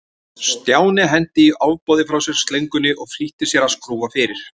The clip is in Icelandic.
Stjáni henti í ofboði frá sér slöngunni og flýtti sér að skrúfa fyrir.